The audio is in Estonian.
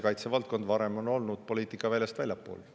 Kaitsevaldkond on varem asunud poliitikaväljast väljapool.